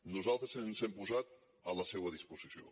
nosaltres ens hem posat a la seua disposició